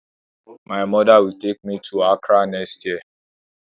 My mother will take me to Accra next year